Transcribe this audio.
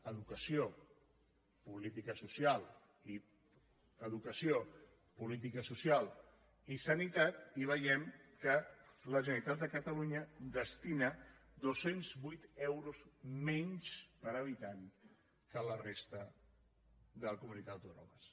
educació política social i sanitat i veiem que la generalitat de catalunya destina dos cents i vuit euros menys per habitant que la resta de comunitats autònomes